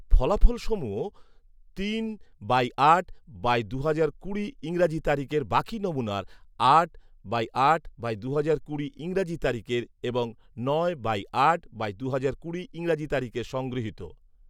ফলাফল সমূহ তিন বাই আট দুহাজার কুড়ি ইংরাজি তারিখের বাকি নমুনার, আট বাই আট বাই দুহাজার কুড়ি ইংরাজি তারিখের এবং নয় বাই আট বাই দুহাজার কুড়ি ইংরাজি তারিখের সংগৃহীত